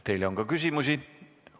Teile on ka küsimusi.